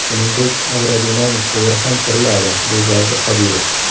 Shuningdek, aerodinamik quvur ham quriladi”, − deb yozdi Qodirov.